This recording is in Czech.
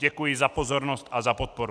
Děkuji za pozornost a za podporu.